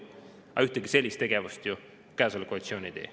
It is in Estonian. Aga ühtegi sellist tegevust ju praegune koalitsioon ei tee.